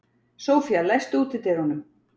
Sophia, læstu útidyrunum.